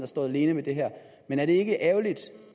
står alene med det her er det ikke ærgerligt